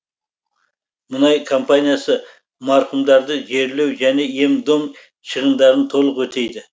мұнай компаниясы марқұмдарды жерлеу және ем дом шығындарын толық өтейді